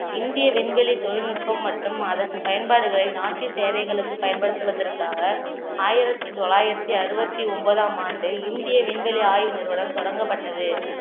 இந்திய விண்வெளி தொழில்நுட்பம் மற்றும் அதன் பயன்பாடுகளை நாட்டின் தேவைகளுக்கு பயன்படுத்துவதற்காக ஆயிரத்தி தொள்ளாயிரத்தி அறுபத்தி ஒன்பதாம் ஆண்டு இந்திய விண்வெளி ஆய்வு நிறுவனம் தொடங்கப்பட்டது